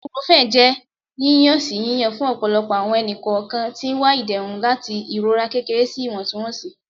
Ibuprofen jẹ yiyan-si yiyan fun ọpọlọpọ awọn ẹni-kọọkan ti n wa iderun lati irora kekere si iwọntunwọnsi